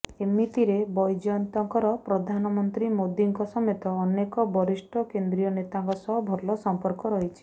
ଏମିତିରେ ବୈଜୟନ୍ତଙ୍କର ପ୍ରଧାନମନ୍ତ୍ରୀ ମୋଦୀଙ୍କ ସମେତ ଅନେକ ବରିଷ୍ଠ କେନ୍ଦ୍ରୀୟ ନେତାଙ୍କ ସହ ଭଲ ସଂପର୍କ ରହିଛି